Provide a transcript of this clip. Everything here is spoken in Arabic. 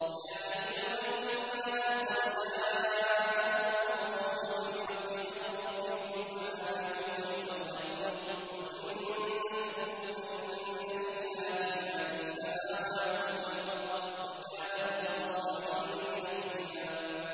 يَا أَيُّهَا النَّاسُ قَدْ جَاءَكُمُ الرَّسُولُ بِالْحَقِّ مِن رَّبِّكُمْ فَآمِنُوا خَيْرًا لَّكُمْ ۚ وَإِن تَكْفُرُوا فَإِنَّ لِلَّهِ مَا فِي السَّمَاوَاتِ وَالْأَرْضِ ۚ وَكَانَ اللَّهُ عَلِيمًا حَكِيمًا